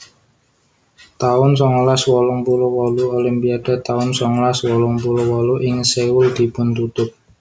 taun songolas wolung puluh wolu Olimpiade taun songolas wolung puluh wolu ing Seoul dipun tutup